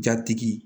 Jatigi